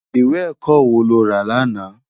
Iwé èkò wó ló rá làná?